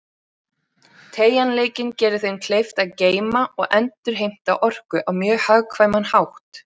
Teygjanleikinn gerir þeim kleift að geyma og endurheimta orku á mjög hagkvæman hátt.